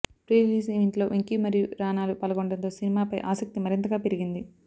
pre release ఈవెంట్లో వెంకీ మరియు రానాలు పాల్గొనడంతో సినిమాపై ఆసక్తి మరింతగా పెరిగింది